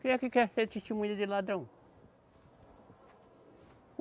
Quem é que quer ser testemunha de ladrão?